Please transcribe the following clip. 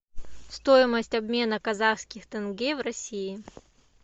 стоимость обмена казахских тенге в россии